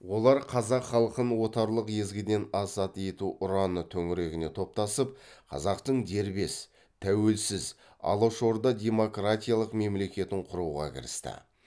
олар қазақ халқын отарлық езгіден азат ету ұраны төңірегіне топтасып қазақтың дербес тәуелсіз алашорда демократиялық мемлекетін құруға кірісті